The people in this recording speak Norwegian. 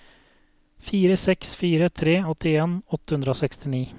fire seks fire tre åttien åtte hundre og sekstini